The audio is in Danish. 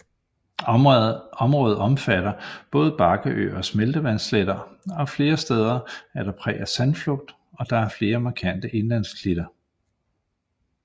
Området omfatter både bakkeøer og smeltevandssletter og flere steder er der præg af sandflugt og der er flere markante indlandsklitter